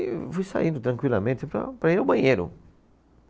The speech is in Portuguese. E fui saindo tranquilamente para, para ir ao banheiro.